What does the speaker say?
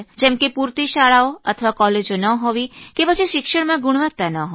જેમ કે પૂરતી શાળાઓ અથવા કોલેજો ન હોવી કે પછી શિક્ષણમાં ગુણવત્તા ન હોવી